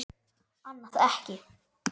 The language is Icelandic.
Annað ekki.